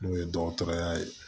N'o ye dɔgɔtɔrɔya ye